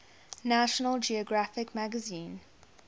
national geographic magazine